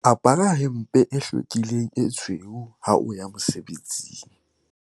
apara hempe e hlwekileng e tshweu ha o ya mosebetsing